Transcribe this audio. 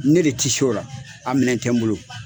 Ne de ti s'o ra, a minɛn tɛ n bolo.